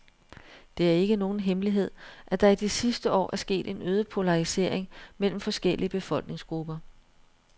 Det er ikke nogen hemmelighed, at der i de sidste år er sket en øget polarisering mellem forskellige befolkningsgrupper.